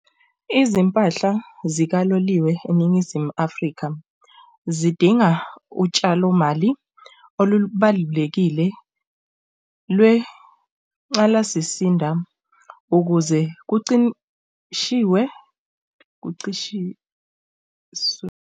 Izimpahla zikaloliwe eNingizimu Afrika zidinga utshalo mali olubalulekile lwencalasisinda ukuze kucimshiwe, kucishiwe .